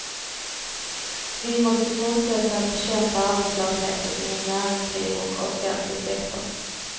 Vi måste fortsätta att bekämpa arbetslösheten inom näringsliv och offentlig sektor.